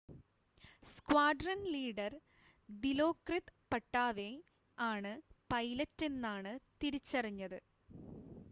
squadron leader Dilokrit Pattavee ആണ് പൈലറ്റെന്നാണ് തിരിച്ചറിഞ്ഞത്